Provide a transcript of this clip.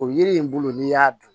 O yiri in bolo n'i y'a dun